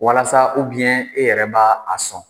Walasa e yɛrɛ bɛ a sɔn